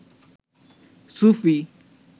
সুফি